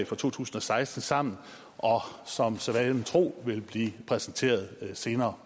for to tusind og seksten sammen som sædvanen tro vil blive præsenteret senere